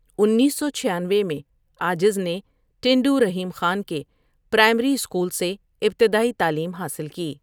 انیس سو چھیانوے میں عاجز نے ٹنڈو رحیم خان کے پرائمری اسکول سے ابتدائی تعلیم حاصل کی ۔